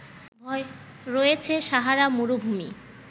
রয়েছে সাহারা মরুভূমি